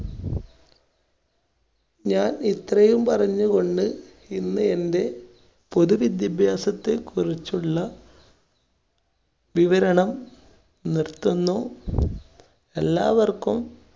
ഞാൻ ഇത്രയും പറഞ്ഞുകൊണ്ട് ഇന്ന് എൻറെ പൊതു വിദ്യാഭ്യാസത്തെ കുറിച്ചുള്ള വിവരണം നിർത്തുന്നു. എല്ലാവർക്കും